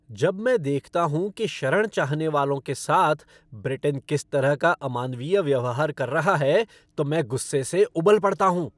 जब मैं देखता हूँ कि शरण चाहने वालों के साथ ब्रिटेन किस तरह का अमानवीय व्यवहार कर रहा है तो मैं गुस्से से उबल पड़ता हूँ।